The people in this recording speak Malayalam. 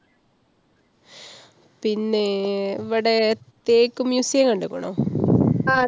പിന്നെ~ വടെ തേക്ക് museum കണ്ട്ക്കണോ?